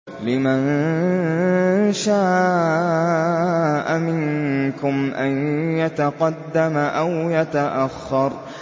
لِمَن شَاءَ مِنكُمْ أَن يَتَقَدَّمَ أَوْ يَتَأَخَّرَ